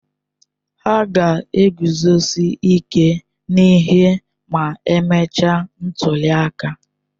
Hà ga-eguzosi ike n'ihe ma emechaa ntuli aka?